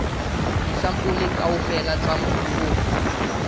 disampole kaofela tsa mobu o